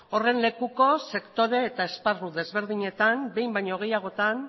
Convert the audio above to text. horren lekuko sektore eta esparru desberdinetan behin baino gehiagotan